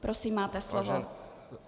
Prosím, máte slovo.